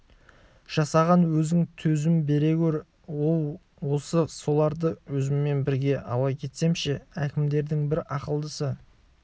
жасаған өзің төзім бере гөр оу осы соларды өзіммен бірге ала кетсем ше әкімдердің бір ақылдысы